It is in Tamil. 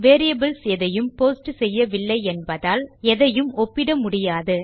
வேரியபிள்ஸ் எதையும் போஸ்ட் செய்யவில்லை என்பதால் எதையும் ஒப்பிட முடியாது